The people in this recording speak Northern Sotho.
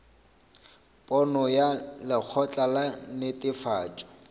pono ya lekgotla la netefatšo